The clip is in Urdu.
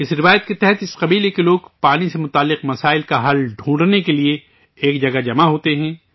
اس روایت کے تحت اس قبیلہ کے لوگ پانی سے جڑے مسائل کا حل تلاش کرنے کے لیے ایک جگہ پر جمع ہوتے ہیں